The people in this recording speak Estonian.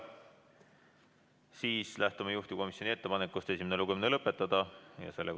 Siis lähtume juhtivkomisjoni ettepanekust esimene lugemine lõpetada.